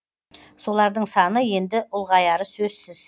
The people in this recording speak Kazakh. солардың саны енді ұлғаяры сөзсіз